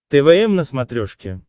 твм на смотрешке